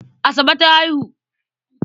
Asabe ta haihu.